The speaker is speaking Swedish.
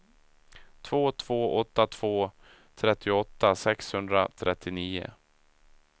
två två åtta två trettioåtta sexhundratrettionio